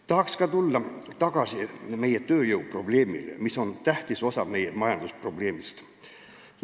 Tahaks tulla tagasi tööjõuprobleemi juurde, mis on tähtis osa meie majandusprobleemist.